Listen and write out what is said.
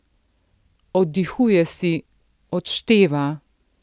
Oddihuje si, odšteva.